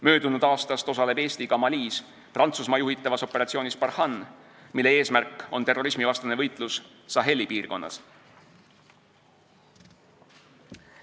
Möödunud aastast osaleb Eesti Malis Prantsusmaa juhitavas operatsioonis Barkhane, mille eesmärk on terrorismivastane võitlus Saheli piirkonnas.